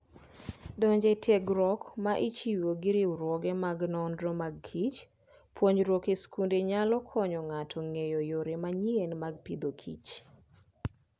Donjo e tiegruok ma ichiwo gi riwruoge mag nonro mag kich. Puonjruok e skunde nyalo konyo ng'ato ng'eyo yore manyien mag Agriculture and Food.